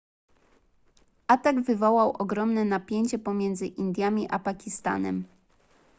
atak wywołał ogromne napięcie pomiędzy indiami a pakistanem